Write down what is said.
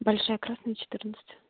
большая красная четырнадцать